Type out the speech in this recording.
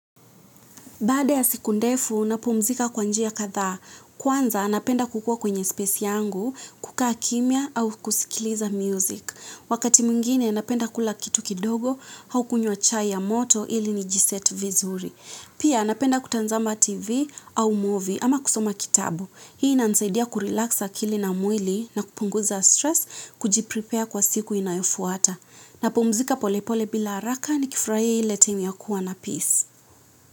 Baada ya siku ndefu, napumzika kwa njia kadhaa. Kwanza, napenda kukua kwenye space yangu, kukaa kimya au kusikiliza music. Wakati mwingine, napenda kula kitu kidogo, au kunywa chai ya moto ili nijiseti vizuri. Pia, napenda kutazama TV au movie ama kusoma kitabu. Hii inanisaidia kurelax akili na mwili na kupunguza stress, kujiprepare kwa siku inayofuata. Napumzika polepole bila haraka nikifurahia ile time ya kuwa na peace.